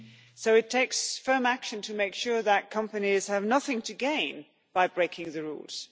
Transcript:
So it takes firm action to make sure that companies have nothing to gain by breaking the rules.